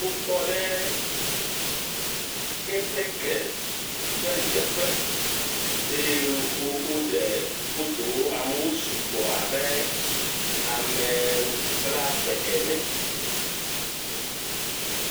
..wo tɔ ɖe ketekɛ ƒe dzeƒe eye wo oɖe foto wo, amewo su gbɔ abe ame blave ene.